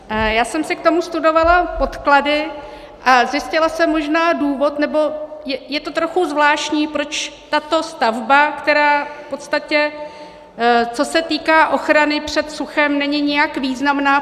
Já jsem si k tomu studovala podklady a zjistila jsem možná důvod, nebo je to trochu zvláštní, proč tato stavba, která v podstatě co se týká ochrany před suchem, není nijak významná.